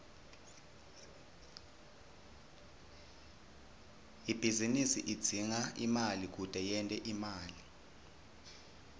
ibhizinisi idzinga imali kute yente imali